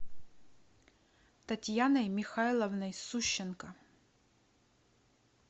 татьяной михайловной сущенко